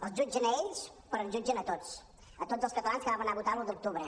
els jutgen a ells però ens jutgen a tots a tots els catalans que vam anar a votar l’un d’octubre